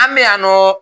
An bɛ yan nɔ